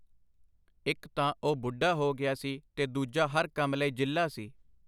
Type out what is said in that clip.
ਇੱਕ ਤਾਂ ਉਹ ਬੁੱਢਾ ਹੋ ਗਿਆ ਸੀ ਤੇ ਦੂਜਾ ਹਰ ਕੰਮ ਲਈ ਜਿੱਲ੍ਹਾ ਸੀ.